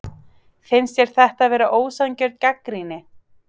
Finnst þér þetta vera ósanngjörn gagnrýni?